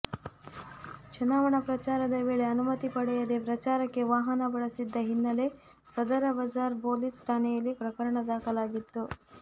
ಚುನಾವಣಾ ಪ್ರಚಾರದ ವೇಳೆ ಅನುಮತಿ ಪಡೆಯದೇ ಪ್ರಚಾರಕ್ಕೆ ವಾಹನ ಬಳಸಿದ್ದ ಹಿನ್ನೆಲೆ ಸದರ ಬಜಾರ್ ಪೊಲೀಸ್ ಠಾಣೆಯಲ್ಲಿ ಪ್ರಕರಣ ದಾಖಲಾಗಿತ್ತು